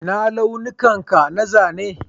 Ina launukan ka na zanen?